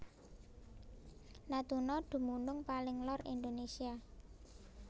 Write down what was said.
Natuna dumunung paling lor Indonésia